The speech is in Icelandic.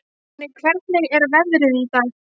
Konni, hvernig er veðrið í dag?